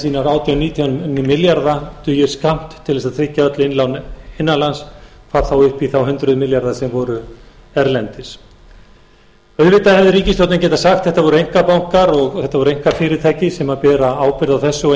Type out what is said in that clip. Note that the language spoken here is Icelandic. átján til nítján milljarða dugir skammt til þess að tryggja öll innlán innanlands hvað þá upp í þá hundruð milljarða sem voru erlendis auðvitað hefði ríkisstjórnin getað sagt þetta voru einkabankar og þetta voru einkafyrirtæki sem bera ábyrgð á þessu og